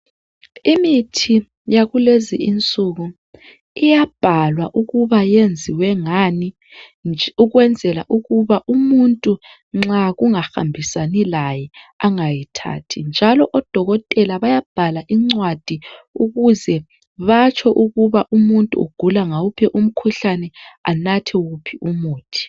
Imithi yakulezi insuku iyabhalwa ukuba yenziwe ngani ukwenzela ukuba umuntu nxa kungahambisani laye angayithathi njalo odokotela bayabhala incwadi ukuze batsho ukuba umuntu ugula ngawuphi umkhuhlane, anathe uphi umuthi.